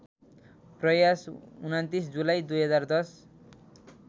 प्रयास २९ जुलाई २०१०